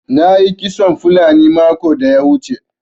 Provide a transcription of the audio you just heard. Na yi kitson fulani makon da ya wuce.